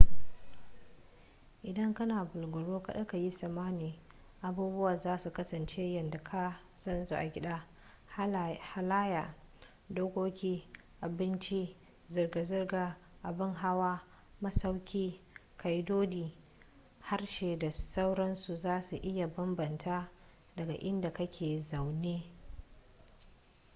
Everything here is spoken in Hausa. idan kana bulaguro kada ka yi tsammani abubuwa za su kasance yadda ka san su a gida halayya dokoki abinci zirga-zirgar abin hawa masauki ƙa'idodi harshe da sauransu za su iya bambanta daga inda ka ke zaune